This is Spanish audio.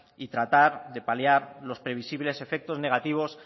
y tratar de paliar los previsibles efectos negativos